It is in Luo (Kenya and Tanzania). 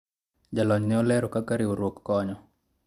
jolony ne olero kaka riwruok konyo